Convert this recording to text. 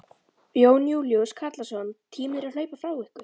Jón Júlíus Karlsson: Tíminn er að hlaupa frá ykkur?